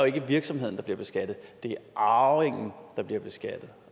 ikke virksomheden der bliver beskattet det er arvingen der bliver beskattet